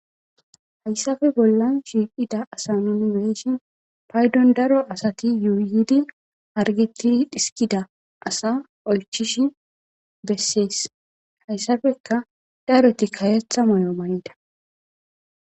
hayssafe bollan shiiqida asa nun weeshin paydon daro asati yuuyidi hargetidi dhiskida asa oychish bessees hayssafeka dareti kawetha may7o mayida